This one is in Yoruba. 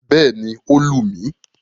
Bẹ́ẹ̀ni, ó lù mí.